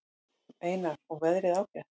Einar: Og veðrið ágætt?